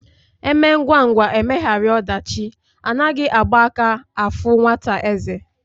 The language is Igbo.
Emee ngwa ngwa emeghara odachi Anaghi Agba aka afu nwata eze